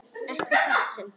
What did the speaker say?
Ekki í þetta sinn.